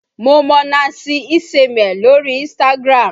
Mo mọ Nancy Isime lórí Instagram